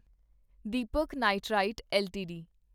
Deepak nitrite LTD